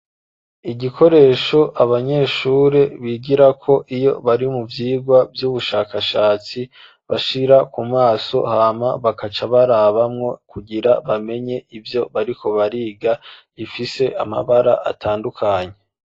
Igikoresho abanyeshuri bigirako iyo bari mu vyigwa vy'ubushakashatsi bashira ku maso hama bagaca barabamwo kugira bamenye ivyo bariko bariga gifise amabara atandukanye.